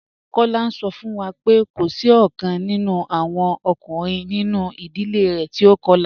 Kola n sọ fun wa pé kò sí ọ̀kan nínú awọn ọkùnrin nínú idílé rẹ̀ tí o kọ̀la.